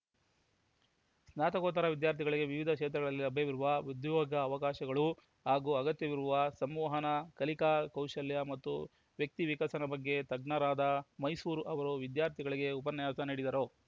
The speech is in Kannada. ಸ್ನಾತಕೋತ್ತರ ವಿದ್ಯಾರ್ಥಿಗಳಿಗೆ ವಿವಿಧ ಕ್ಷೇತ್ರದಲ್ಲಿ ಲಭ್ಯವಿರುವ ಉದ್ಯೋಗ ಅವಕಾಶಗಳು ಹಾಗೂ ಅಗತ್ಯವಿರುವ ಸಂವಹನ ಕಲಿಕಾ ಕೌಶಲ್ಯ ಮತ್ತು ವ್ಯಕ್ತಿ ವಿಕಸನದ ಬಗ್ಗೆ ತಜ್ಞರಾದ ವೈಸೂರು ಅವರು ವಿದ್ಯಾರ್ಥಿಗಳಿಗೆ ಉಪನ್ಯಾಸ ನೀಡಿದರು